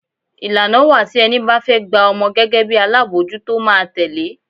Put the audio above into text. Ìlànà wá tí ẹni bá fẹ́ gba ọmọ gẹ́gẹ́ bí alábòójútó máa tẹle.